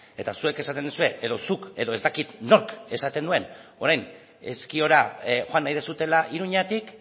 eta zuek esaten duzue edo zuk edo ez dakit nork esaten duen orain ezkiora joan nahi duzuela iruñatik